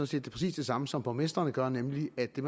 siger præcis det samme som borgmesteren gør nemlig at det